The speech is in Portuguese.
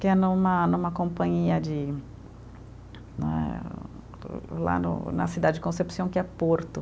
Que é numa, numa companhia de, né o, Lá no na cidade de Concepción, que é Porto.